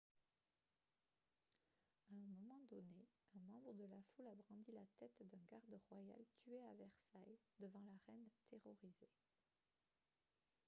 à un moment donné un membre de la foule a brandi la tête d'un garde royal tué à versailles devant la reine terrorisée